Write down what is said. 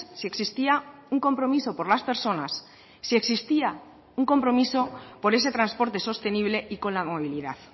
si existía un compromiso por las personas si existía un compromiso por ese transporte sostenible y con la movilidad